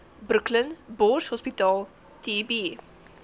brooklyn borshospitaal tb